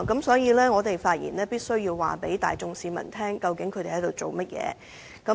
所以，我要發言告知大眾市民，究竟這些議員正在做甚麼。